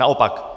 Naopak.